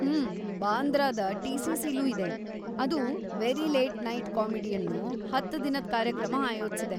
ಹೂಂ, ಬಾಂದ್ರಾದ ಟಿ.ಸಿ.ಸಿ.ಲೂ ಇದೆ, ಅದು "ವೆರಿ ಲೇಟ್‌ ನೈಟ್‌ ಕಾಮಿಡಿ" ಅನ್ನೂ ಹತ್ ದಿನದ್‌ ಕಾರ್ಯಕ್ರಮ ಆಯೋಜ್ಸಿದೆ.